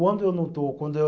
Quando eu não estou, quando eu.